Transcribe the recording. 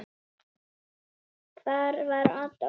Hvar var Adolf?